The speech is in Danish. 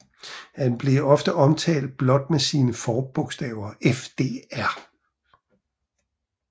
Han blev ofte omtalt blot med sine forbogstaver FDR